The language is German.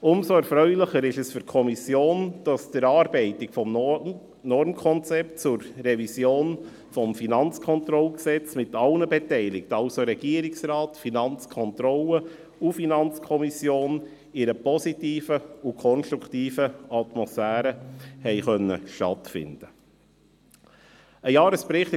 Umso erfreulicher ist es für die Kommission, das die Erarbeitung des Normkonzepts zur Revision des Gesetzes über die Finanzkontrolle (Kantonales Finanzkontrollgesetz, KFKG) mit allen Beteiligten – also Regierungsrat, Finanzkontrolle und FiKo – in einer positiven und konstruktiven Atmosphäre stattfinden konnte.